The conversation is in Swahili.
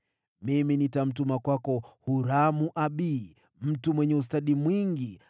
“Mimi nitamtuma kwako Huramu-Abi, mtu mwenye ustadi mwingi,